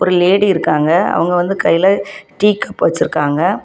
ஒரு லேடி இருக்காங்க அவங்க வந்து கையில டீ கப் வச்சிருக்காங்க.